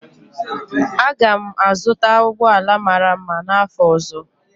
Aga m azụta ụgbọ ala mara mma n'afọ ọzọ.